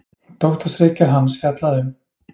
Doktorsritgerð hans fjallaði um